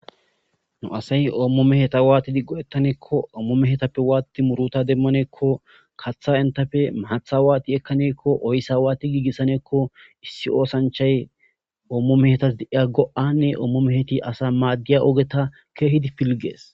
Nu asay oomo mehetha waathidi go7eththanekko oomo mehethappe waathidi murutha demmaneekko kaththaa enththape maaththaa waathi ekkaneekko oyssa waathi giigissaneekko issi oosanchchay oomo mehethan de7ya go7aanne oomo mehethi asaa maaddiya ogetha keehidi pilgges.